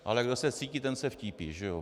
Ale kdo se vcítí, ten se vtípí, že jo?